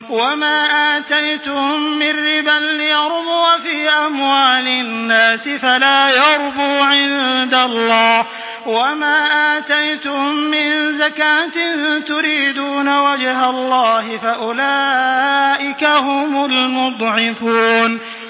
وَمَا آتَيْتُم مِّن رِّبًا لِّيَرْبُوَ فِي أَمْوَالِ النَّاسِ فَلَا يَرْبُو عِندَ اللَّهِ ۖ وَمَا آتَيْتُم مِّن زَكَاةٍ تُرِيدُونَ وَجْهَ اللَّهِ فَأُولَٰئِكَ هُمُ الْمُضْعِفُونَ